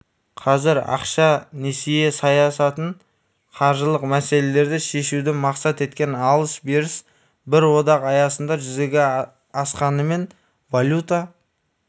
қазір ақша-несие саясатын қаржылық мәселелерді шешуді мақсат еткен алыс-беріс бір одақ аясында жүзеге асқанымен валюта